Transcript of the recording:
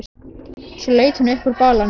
Svo leit hún upp úr balanum.